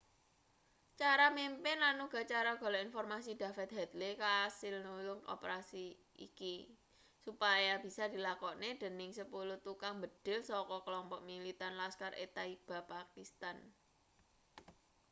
cara mimpin lan uga cara golek informasi david headley kasil nulung operasi iki supaya bisa dilakokne dening 10 tukang mbedhil saka klompok militan laskhar-e-taiba pakistan